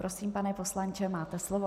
Prosím, pane poslanče, máte slovo.